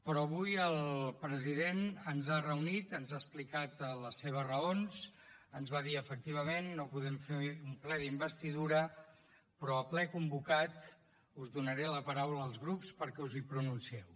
però avui el president ens ha reunit ens ha explicat les seves raons ens va dir efectivament no podem fer un ple d’investidura però al ple convocat us donaré la paraula als grups perquè us hi pronuncieu